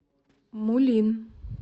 мулин